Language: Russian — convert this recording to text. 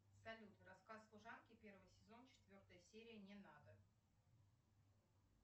салют рассказ служанки первый сезон четвертая серия не надо